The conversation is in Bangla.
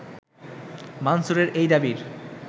মানসুরের এই দাবির